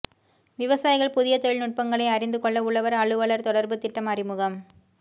விவசாயிகள் புதிய தொழில் நுட்பங்களை அறிந்துகொள்ள உழவர் அலுவலர் தொடர்பு திட்டம் அறிமுகம்